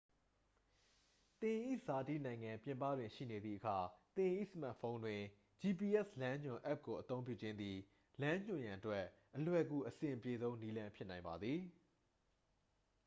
သင်၏ဇာတိနိုင်ငံပြင်ပတွင်ရှိနေသည့်အခါ သင်၏စမတ်ဖုန်းတွင် gps လမ်းညွှန်အက်ပ်ကိုအသုံးပြုခြင်းသည် လမ်းညွှန်ရန်အတွက် အလွယ်ကူအဆင်ပြေဆုံးနည်းလမ်းဖြစ်နိုင်ပါသည်